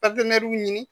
ɲini